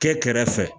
Kɛ kɛrɛfɛ